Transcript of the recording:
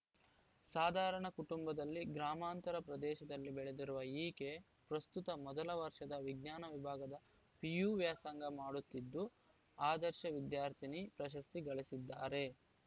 ಸಾಧಾರಣ ಕುಟುಂಬದಲ್ಲಿ ಗ್ರಾಮಾಂತರ ಪ್ರದೇಶದಲ್ಲಿ ಬೆಳೆದಿರುವ ಈಕೆ ಪ್ರಸ್ತುತ ಮೊದಲ ವರ್ಷದ ವಿಜ್ಞಾನ ವಿಭಾಗದ ಪಿಯು ವ್ಯಾಸಂಗ ಮಾಡುತ್ತಿದ್ದು ಆದರ್ಶ ವಿದ್ಯಾರ್ಥಿನಿ ಪ್ರಶಸ್ತಿ ಗಳಿಸಿದ್ದಾರೆ